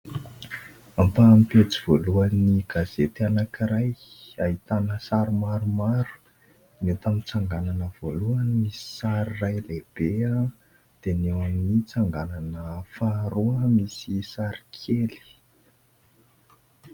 Ampaham-pejy voalohan'ny gazety anankiray ahitany sary maromaro, ny eto amin'ny tsanganana voalohany misy sary iray lehibe dia ny eo amin'ny tsanganana faharoa no misy sary kely.